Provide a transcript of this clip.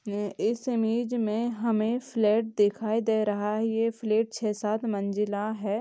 ये इस इमेज में हमें फ्लैट दिखाई दे रहा है ये फ्लैट छै-साथ मंजिला है।